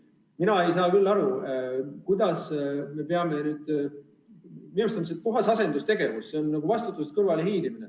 Aga minu arust on see puhas asendustegevus, see on nagu vastutusest kõrvale hiilimine.